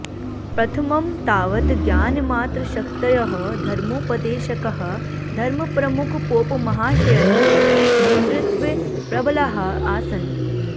प्रथमं तावत् ज्ञानमात्रशक्तयः धर्मोपदेशकाः धर्मप्रमुखपोपमहाशयस्य नेतृत्वे प्रबलाः आसन्